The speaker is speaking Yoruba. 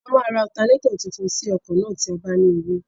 A máa ra ọtanẹ́tọ̀ tuntun sí ọkọ̀ náà tí a bá ní owó.